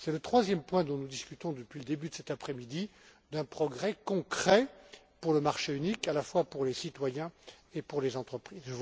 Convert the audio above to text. C'est le troisième point dont nous discutons depuis le début de cet après midi qui représente un progrès concret pour le marché unique, à la fois pour les citoyens et pour les entreprises.